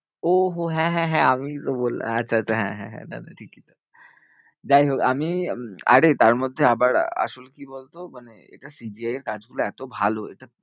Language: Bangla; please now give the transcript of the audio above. ও হো হ্যাঁ, হ্যাঁ, হ্যাঁ আমিই তো বললাম, আচ্ছা আচ্ছা হ্যাঁ হ্যাঁ হ্যাঁ, না না ঠিকই যাইহোক আমি উম আরে তারমধ্যে আবার আসলে কি বলতো? মানে এটা CGI এর কাজগুলো এতো ভালো এটা